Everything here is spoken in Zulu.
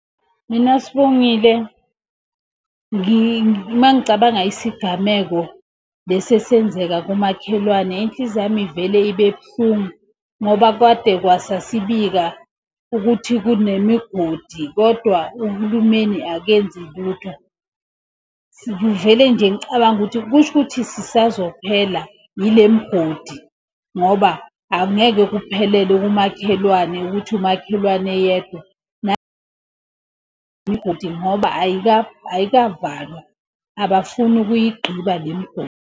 Mina Sibongile uma ngicabanga isigameko lesi esenzeka kumakhelwane inhliziyo yami ivele ibe buhlungu ngoba kade kwase sibika ukuthi kunemigodi kodwa uhulumeni akenzi lutho. Ngivele nje ngicabange ukuthi kusho ukuthi sisazophela ile migodi. Ngoba angeke kuphelele kumakhelwane ukuthi umakhelwane yedwa imigodi ngoba ayikavalwa, abafuni ukuyigqiba le migodi.